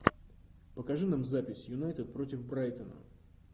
покажи нам запись юнайтед против брайтона